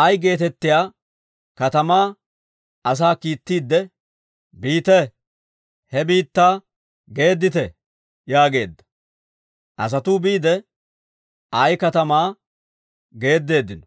Ayi geetettiyaa katamaa asaa kiittiidde, «Biite; he biittaa geeddite» yaageedda. Asatuu biide, Ayi katamaa geeddeeddino.